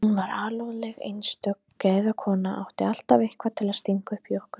Hún var alúðleg og einstök gæðakona, átti alltaf eitthvað til að stinga upp í okkur.